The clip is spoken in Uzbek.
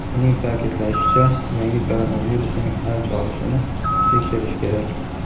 Uning ta’kidlashicha, yangi koronavirusning "avj olishini" tekshirish kerak.